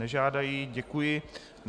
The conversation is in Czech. Nežádají, děkuji.